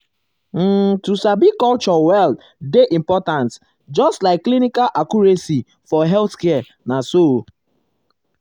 um um to sabi culture well dey important just um like clinical accuracy for healthcare na so.